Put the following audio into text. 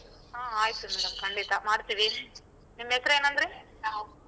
ಹೂ ಆಯ್ತು madam ಖಂಡಿತ ಮಾಡ್ತಿವಿ. ನಿಮ್ ಹೆಸ್ರ್ ಏನ್ ಅಂದ್ರಿ?